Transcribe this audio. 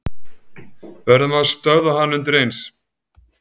Verðum að stöðva hann undireins.